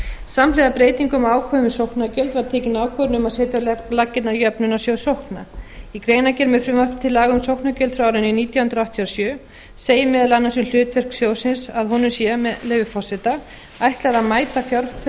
samhliða breytingum á ákvæðum um sóknargjöld var tekin ákvörðun um að setja á laggirnar jöfnunarsjóð sókna í greinargerð með frumvarpi til laga um sóknargjöld frá árinu nítján hundruð áttatíu og sjö segir meðal annars um hlutverk sjóðsins að honum sé með leyfi forseta ætlað að mæta fjárþörf